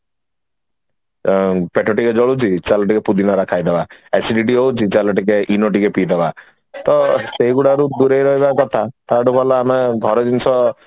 ତ ପେଟ ଟିକେ ଜଳୁଛି ଚାଲ ଟିକେ ପୁଦିନହରା ଖାଇଦବା acidity ହଉଛି ଚାଲେ ଟିକେ Eno ଟିକେ ପି ଦବା ତ ସେଇଗୁଡାରୁ ଦୂରେଇ ରହିବ କଥା ତ ତାଠୁ ଭଲ ଆମେ ଘର ଜିନିଷ